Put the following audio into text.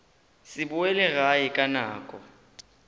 se boele gae ka nako